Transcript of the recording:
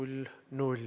Imre Sooäär, palun!